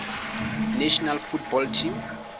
national football team